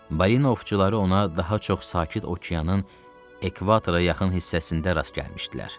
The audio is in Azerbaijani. Balina ovçuları ona daha çox Sakit okeanın ekvatora yaxın hissəsində rast gəlmişdilər.